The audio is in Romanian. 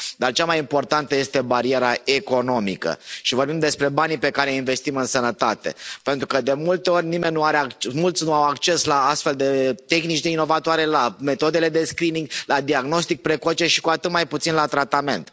Dar cea mai importantă este bariera economică, și vorbim despre banii pe care îi investim în sănătate, pentru că de multe ori mulți nu au acces la astfel de tehnici inovatoare, la metodele de screening, la diagnostic precoce și cu atât mai puțin la tratament.